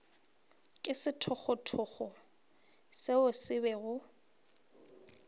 ke sethogothogo seo se bego